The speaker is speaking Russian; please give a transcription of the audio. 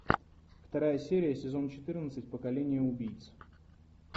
вторая серия сезон четырнадцать поколение убийц